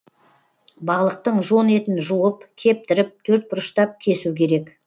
балықтың жон етін жуып кептіріп төртбұрыштап кесу керек